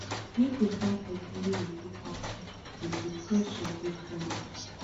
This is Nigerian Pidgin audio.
make you find pesin wey you fit tok to if di pressure dey too much